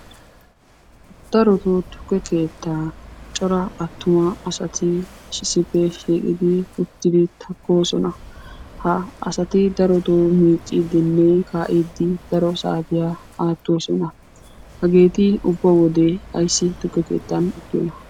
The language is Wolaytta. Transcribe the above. Darotto tukke keettaa cora attuma asati issippe shiiqodi uttidi takkoosona. Ha asati darotto miiccidinne kaa'ide daro saariya aattoosona. Hageeti ubba wode ayssi tukke keettan uttiyoona?